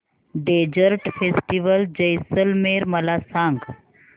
desert festival Jaisalmer मला सांग